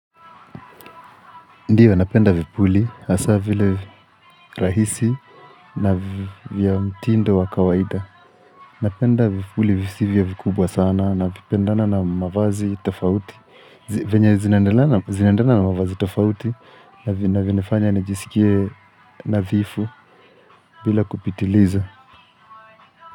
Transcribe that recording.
Ndiyo, napenda vipuli, hasa vile rahisi na vya mtindo wa kawaida. Napenda vipuli visivyo vikubwa sana na vipendana na mavazi tafauti. Venye zinaendana na mavazi tafauti na vinafanya najisikie nadhifu bila kupitiliza.